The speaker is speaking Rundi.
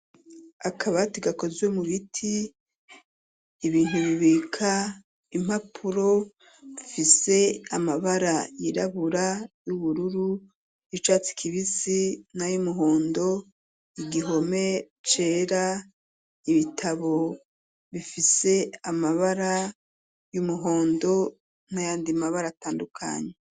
Akabati gakoziwe mu biti ibintbibika impapuro fise amabara yirabura y'ubururu icatse kibisi na y'umuhondo igihome cera ibitabo bifise amabara y'umuhondo nkayandimabara atandukanyi.